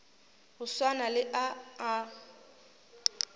go swana le a a